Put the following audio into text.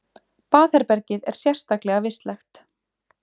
Baðherbergið er sérstaklega vistlegt